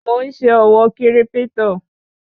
Mò ń ṣe òwò kírípítò